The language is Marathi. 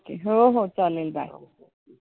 हो हो चालेल. bye okay